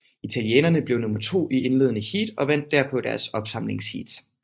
Italienerne blev nummer to i indledende heat og vandt derpå deres opsamlingsheat